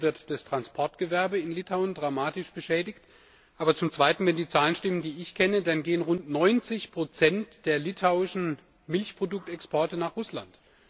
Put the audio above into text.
Zum einen wird das Transportgewerbe in Litauen dramatisch beschädigt, aber zum Zweiten wenn die Zahlen stimmen, die ich kenne gehen rund 90 der litauischen Milchproduktexporte nach Russland.